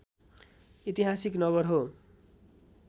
ऐतिहासिक नगर हो